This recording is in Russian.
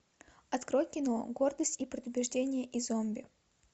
открой кино гордость и предубеждение и зомби